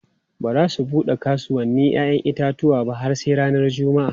Ba za su bude kasuwannin 'ya'yan itatuwa ba har sai ranar Juma'a.